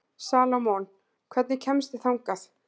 Salómon, hvernig kemst ég þangað?